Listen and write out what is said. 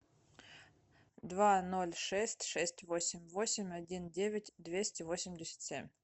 два ноль шесть шесть восемь восемь один девять двести восемьдесят семь